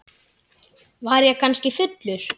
Var ég kannski fullur?